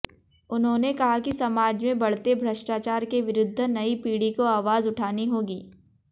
उन्होंने कहा कि समाज में बढ़ते भ्रष्टाचार के विरुद्ध नई पीढ़ी को आवाज उठानी होगी